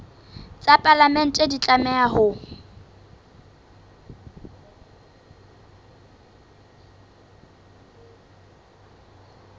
tsa palamente di tlameha ho